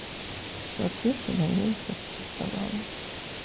соответственно я их аттестовала